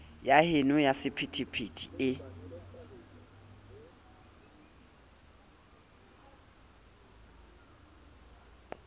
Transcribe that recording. ya heno ya sephethephethe e